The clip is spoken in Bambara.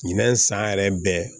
Ɲinɛn san yɛrɛ bɛɛ